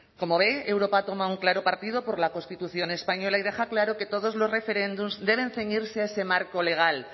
como ve europa toma un claro partido por la constitución española y deja claro que todos los referéndums deben ceñirse a ese marco legal